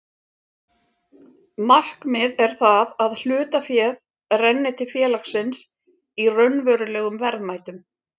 Markmið er það að hlutaféð renni til félagsins í raunverulegum verðmætum.